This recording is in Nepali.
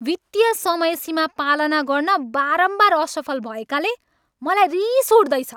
वित्तीय समयसीमा पालना गर्न बारम्बार असफल भएकाले मलाई रिस उठ्दैछ।